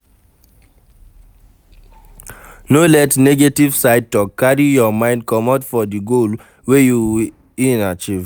No let negetive side talk carry your mind comot for di goal wey you ean achive